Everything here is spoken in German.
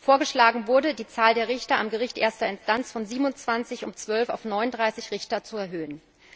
Vorgeschlagen wurde, die Zahl der Richter am Gericht erster Instanz von 27 um 12 auf 39 Richter zu erhöhen.